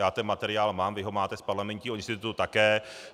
Já ten materiál mám, vy ho máte z Parlamentního institutu také.